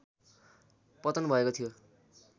पतन भएको थियो